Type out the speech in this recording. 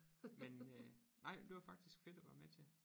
Men øh nej det var faktisk fedt at være med til